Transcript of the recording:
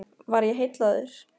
Var ég heillaður?